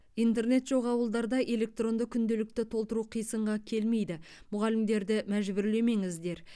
интернет жоқ ауылдарда электронды күнделікті толтыру қисынға келмейді мұғалімдерді мәжбүрлемеңіздер